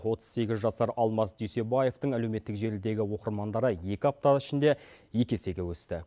отыз сегіз жасар алмас дүйсебаевтың әлеуметтік желідегі оқырмандары екі апта ішінде екі есеге өсті